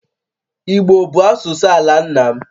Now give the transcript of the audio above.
Igbo bụ asụsụ ala nna m